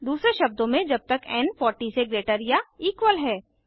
दूसरे शब्दों में जब तक एन 40 से ग्रेटर या इक्वल है